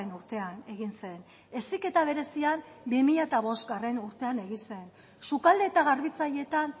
urtean egin zen heziketa berezian bi mila bostgarrena urtean egin zen sukalde eta garbitzaileetan